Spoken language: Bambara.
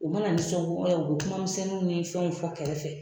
U bɛna nisɔngoya u bɛ kuma misɛnninw ni fɛnw fɔ kɛrɛfɛ